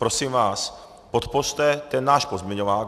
Prosím vás, podpořte ten náš pozměňovák.